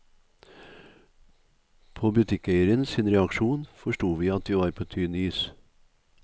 På butikkeieren sin reaksjon forsto vi at vi var på tynn is.